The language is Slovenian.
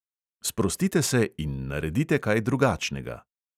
Sprostite se in naredite kaj drugačnega!